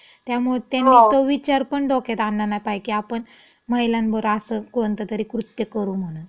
त्यामुळं त्यांनी तो विचारपण डोक्यात आना नाय पाहे की आपण महिलांवर असं कोणतंतरी कृत्य करू म्हणून. हो.